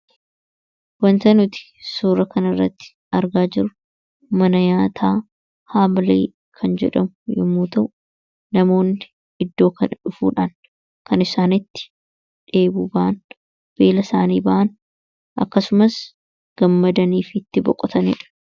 Waanta nuti suura kana irratti argaa jirru, mana nyaataa Hamirii kan jedhamu yemmuu ta'u, namoonni iddoo kana dhufuudhaan kan isaan itti dheebuu bahan, beela isaanii bahan, akkasumas gammadanii fi itti boqotanidha.